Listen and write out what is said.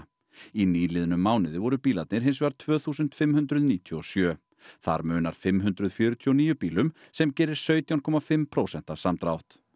í nýliðnum mánuði voru bílarnir hins vegar tvö þúsund og fimm hundruð níutíu og sjö þar munar fimm hundruð fjörutíu og níu bílum sem gerir sautján komma fimm prósenta samdrátt